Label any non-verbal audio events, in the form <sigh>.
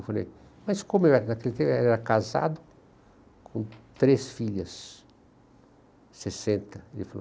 Eu falei, mas como eu <unintelligible> era casado com três filhas, sessenta, ele falou.